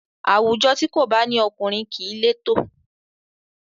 Àwùjọ tí kò bá ní ọkùnrin kìí létò